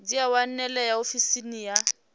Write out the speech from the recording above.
dzi a wanalea ofisini ya